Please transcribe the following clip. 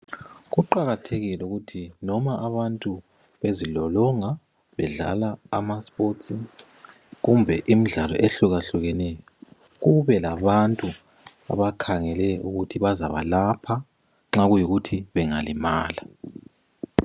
Kuqakathekile ukuthi noma abantu bezilolonga bedlala amasports kumbe imidlalo ehlukahlukeneyo kube labantu abakhangele ukuthi bazabalapha nxa kuyikuthi bangalimala.